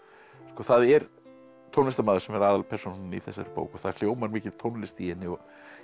það er tónlistarmaður sem er aðalpersónan í þessari bók og það hljómar mikil tónlist í henni og